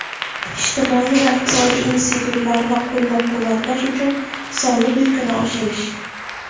ijtimoiy va iqtisodiy institutlarni qo‘llab-quvvatlash uchun soliq yukini oshirish;.